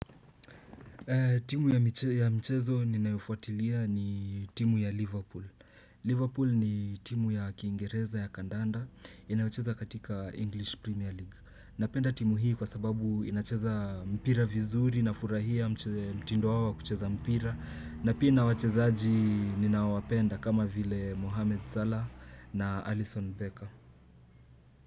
Timu ya michezo ninayofuatilia ni timu ya Liverpool. Liverpool ni timu ya kingereza ya kandanda. Inayocheza katika English Premier League. Napenda timu hii kwa sababu inacheza mpira vizuri na furahia mtindo wao wa kucheza mpira. Na pia ina wachezaji ninaowapenda kama vile Mohammed salah na Alison Becker.